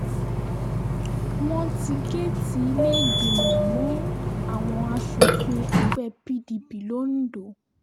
wọ́n ti géètì ilé-ìgbìmọ̀ mọ́ àwọn asòfin ẹgbẹ́ pdp londo